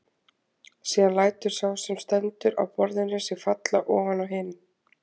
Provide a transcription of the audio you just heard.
Síðan lætur sá sem stendur á borðinu sig falla oná hinn.